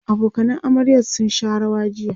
abokanan amaryar sun Sha rawa jiya